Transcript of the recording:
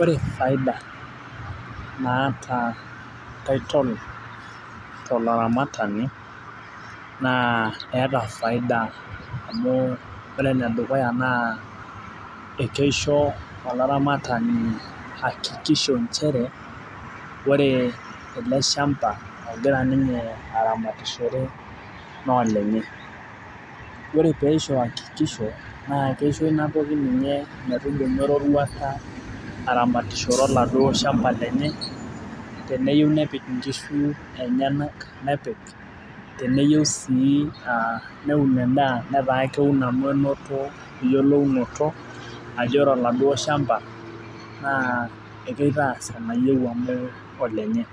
ore faida naata titol tolaramatani eeta faida amu ore enedukuya naa ekeisho olaramatani akikisho chere ore ele shamba ogira ninye aramatishore naa olenye ore pee eisho hakikisho naa keisho ina toki ninye metudumu eruruata aramatishore oladuo shamba lenye teneyieu nepik inkishu enyanak nepik teneyieu sii neun edaa neun amu enoto naa eyiolou noto ajo ore oladuo shamba naa kitaas enayieu ,amu olenye